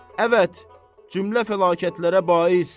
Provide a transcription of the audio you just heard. Əvət, cümlə fəlakətlərə bais.